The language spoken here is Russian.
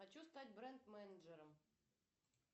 хочу стать бренд менеджером